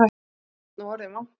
Sveinn og orðinn vankaður.